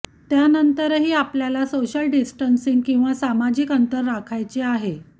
त्यानंतरही आपल्याला social distancing किंवा सामाजिक अंतर राखायचे आहे